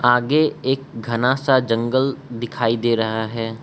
आगे एक घना सा जंगल दिखाई दे रहा है।